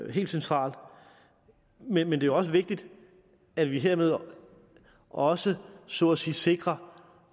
helt centralt men det er også vigtigt at vi hermed også så at sige sikrer